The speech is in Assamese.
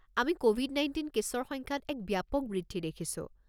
আমি ক'ভিড-১৯ কে'ছৰ সংখ্যাত এক ব্যাপক বৃদ্ধি দেখিছো।